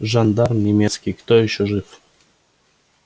жандарм немецкий кто же ещё